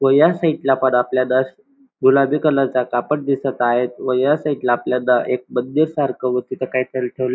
व ह्या साईड ला पण आपल्याला गुलाबी कलरचा कापड दिसत आहेत व ह्या साईड ला आपल्याला एक मंदिर सारख व तिथ काही ठेवल्या --